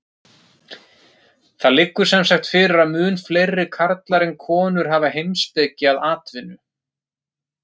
Það liggur sem sagt fyrir að mun fleiri karlar en konur hafa heimspeki að atvinnu.